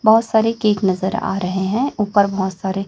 बहुत सारे केक नजर आ रहे हैं ऊपर बहुत सारे--